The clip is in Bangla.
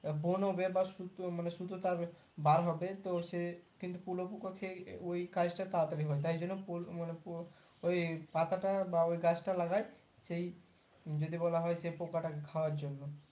বানাবে বা সুতো মানে সুতো তার বার হবে তো সে কিন্তু পলু পোঁকা খেয়ে ওই কাজটা তাড়াতাড়ি হয় তাইজন্য পলু মানে প ওই পাতাটা বা ওই গাছ তা লাগাই সেই যদি বলা হয় সেই পোমকা টাকে খাওয়ার জন্য